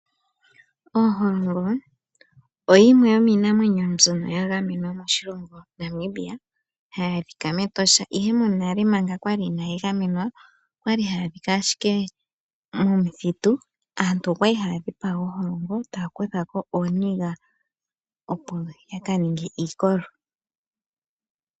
Oholongo oyo yimwe yomiinamwenyo mbyoka yi li ya gamenwa moNamibia, na ohayi adhika mEtosha. Monale ooholongo kakwali dha gamenwa, okwali ashike hadhi adhika momithitu, shono she etitha opo aantu ya kale noku dhi dhipaga, yo taya kutha ko osheelelwa nooniga opo yaka ninge iikolo.